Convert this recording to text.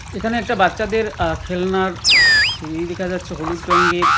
এখানে একটা বাচ্চাদের আ খেলনার সিঁড়ি দেখা যাচ্ছে হলুদ রঙ্গের ।